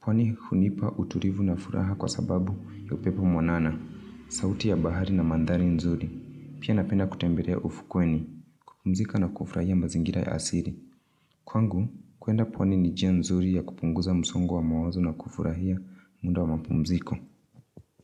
Pwani hunipa utulivu na furaha kwa sababu ya upepo mwanana, sauti ya bahari na mandhari nzuri. Pia napenda kutembelea ufukweni, kupumzika na kufurahia mazingira ya asili. Kwangu, kuenda pwani ni njia nzuri ya kupunguza msongo wa mawazo na kufurahia muda wa mapumziko.